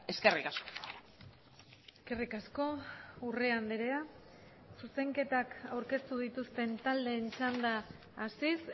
eskerrik asko eskerrik asko urrea andrea zuzenketak aurkeztu dituzten taldeen txanda hasiz